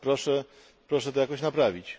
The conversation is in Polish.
Proszę to jakoś naprawić.